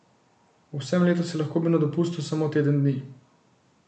V vsem letu si lahko bil na dopustu samo teden dni.